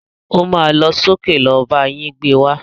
O má lọ sókè lọ bá yín gbé wá.